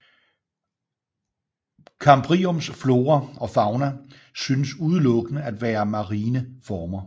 Kambriums flora og fauna synes udelukkende at være marine former